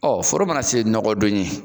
Ɔ foro mana se nɔgɔdon ye